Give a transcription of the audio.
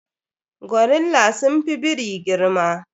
Gorilla sun fi biri girma.